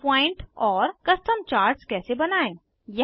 melting point और custom charts कैसे बनायें